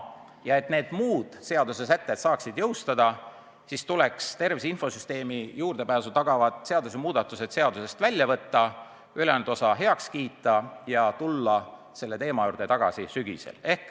Ja et need muud seadusesätted saaksid jõustuda, tuleks tervise infosüsteemile juurdepääsu tagavad muudatused seadusest välja võtta, ülejäänud osa heaks kiita ja tulla selle teema juurde tagasi sügisel.